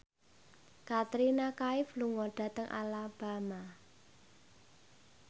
Katrina Kaif lunga dhateng Alabama